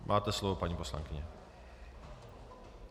Máte slovo, paní poslankyně.